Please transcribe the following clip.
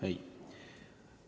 Ei ole.